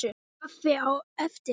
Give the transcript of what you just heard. Kaffi á eftir.